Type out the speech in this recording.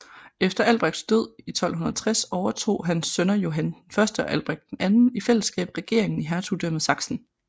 Efter Albrechts død i 1260 overtog hans sønner Johann I og Albrecht II i fællesskab regeringen i hertugdømmet Sachsen